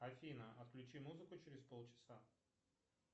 афина отключи музыку через полчаса